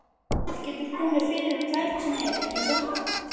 Það getur komið fyrir hvern sem er, ekki satt?